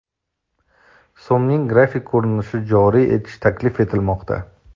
So‘mning grafik ko‘rinishini joriy etish taklif etilmoqda.